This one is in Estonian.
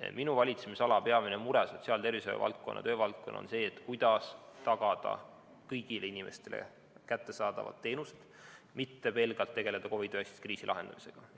on minu valitsemisala, sotsiaal‑ ja tervishoiuvaldkonna ning töövaldkonna peamine mure see, kuidas tagada kõigile inimestele kättesaadavad teenused, mitte pelgalt tegeleda COVID‑19 kriisi lahendamisega.